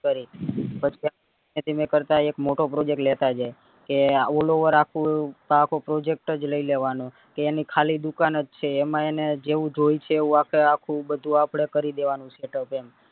કરી પછી ધીમે ધીમે કરતા એક મોટા project લેતા જઈએ કે all over આખું આખો project જ લઇ લેવાનો કે એની ખાલી દુકાન જ છે એમાં એને જેવું જોયે શે એવું આખે આખું બધું આપડે કરી દેવાનું setup એમ